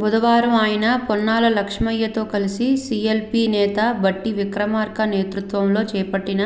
బుధవారం ఆయన పొన్నాల లక్ష్మయ్యతో కలిసి సీఎల్పీ నేత భట్టి విక్రమార్క నేతృత్వంలో చేపట్టిన